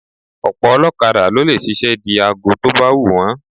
Ọ̀pọ̀ ọlọ́kada ló lè ṣiṣẹ́ di aago tó bá wù wọ́n